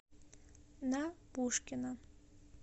на пушкина